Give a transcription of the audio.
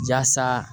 Jasa